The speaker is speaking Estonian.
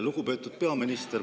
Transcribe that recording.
Lugupeetud peaminister!